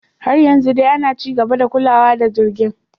Har yanzu dai ana ci gaba da kulawa da jirgin.